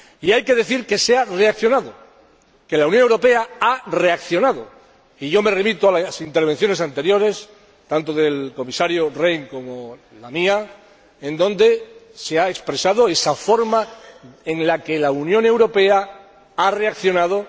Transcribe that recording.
Y hay que decir que se ha reaccionado, que la Unión Europea ha reaccionado, y yo me remito a las intervenciones anteriores, tanto del Comisario Rehn como la mía, en las que se ha expresado esa forma en la que la Unión Europea ha reaccionado.